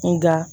Nga